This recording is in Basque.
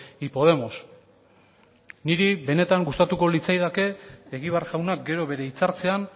y podemos niri benetan gustatuko litzaidake egibar jaunak gero bere hitzartzean